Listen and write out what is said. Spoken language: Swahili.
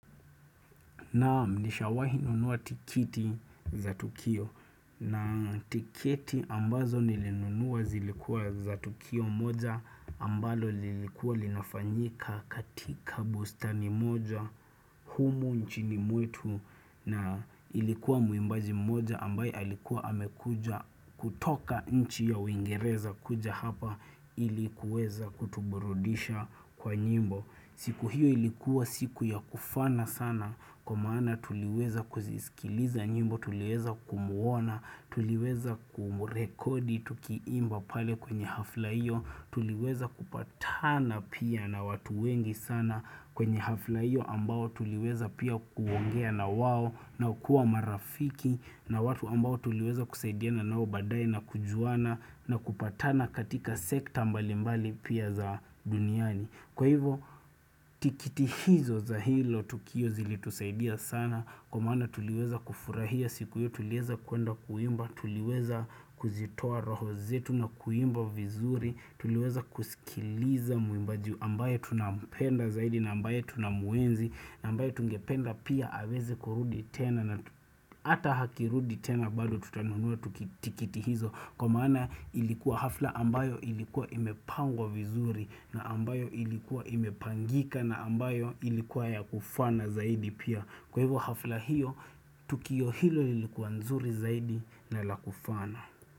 Naam nishawahi nunua tikiti za Tukio na tiketi ambazo nilinunuwa zilikuwa za Tukio moja ambalo lilikuwa linafanyika katika bustani moja humu nchini mwetu na ilikuwa mwimbaji moja ambaye alikuwa amekuja kutoka nchi ya uingereza kuja hapa ili kuweza kutuburudisha kwa nyimbo. Siku hiyo ilikuwa siku ya kufana sana kwa maana tuliweza kuzisikiliza nyimbo, tuliweza kumuona, tuliweza kumurekodi, tukiimba pale kwenye hafla hiyo, tuliweza kupatana pia na watu wengi sana kwenye hafla hiyo ambao tuliweza pia kuongea na wao na kukuwa marafiki na watu ambao tuliweza kusaidiana nao baadaye na kujuana na kupatana katika sekta mbali mbali pia za duniani. Kwa hivo tikiti hizo za hilo tukio zilitusaidia sana kwa mana tuliweza kufurahia siku hiyo tuliweza kuenda kuimba, tuliweza kuzitoa roho zetu na kuimba vizuri, tuliweza kusikiliza mwimbaji ambaye tunampenda zaidi na ambaye tunamuenzi na ambaye tungependa pia aweze kurudi tena na ata hakirudi tena bado tutanunua tikiti hizo. Kwa maana ilikuwa hafla ambayo ilikuwa imepangwa vizuri na ambayo ilikuwa imepangika na ambayo ilikuwa ya kufana zaidi pia. Kwa hivyo hafla hiyo, tukio hilo ilikuwa nzuri zaidi na la kufana.